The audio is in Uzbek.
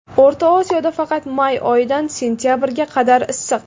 O‘rta Osiyoda faqat may oyidan sentabrga qadar issiq.